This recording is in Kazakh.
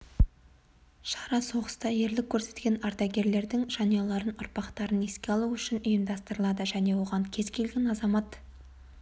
шара соғыста ерлік көрсеткен ардагерлердің жанұяларын ұрпақтарын еске алу үшін ұйымдастырылады және оған кез келген азамат